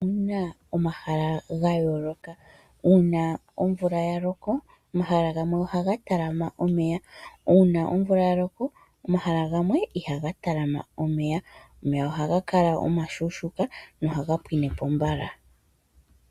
Opuna omahala ga yooloka uuna omvula yaloko omahala gamwe ohaga talama omeya omanga gamwe ihaga talama omeya ohaga kala ashike omashuushuka nohaga pwinepo mbala.